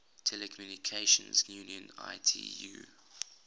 telecommunication union itu